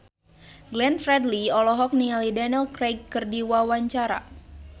Glenn Fredly olohok ningali Daniel Craig keur diwawancara